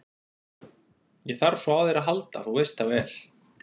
Ég þarf svo á þér að halda, þú veist það vel.